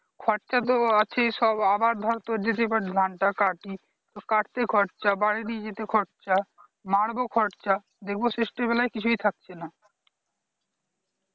খরচ তো আছেই সব আবার ধর যদি তোর ধান তা কাটি কাটতে খরচা বাড়ী নিয়ে যেতে খরচা মারবো খরচা দেখবো শেষবেলায় কিছুই থাকছে না